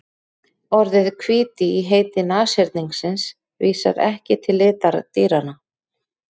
Orðið hvíti í heiti nashyrningsins vísar ekki til litar dýranna.